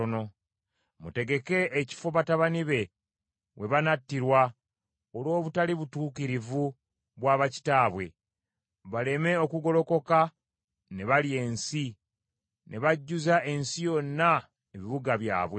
Mutegeke ekifo batabani be we banattirwa olw’obutali butuukirivu bwa bakitaabwe, baleme okugolokoka ne balya ensi, ne bajjuza ensi yonna ebibuga byabwe.